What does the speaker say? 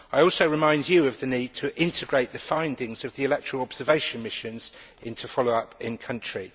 I also remind you of the need to integrate the findings of the electoral observation missions into follow up in the country.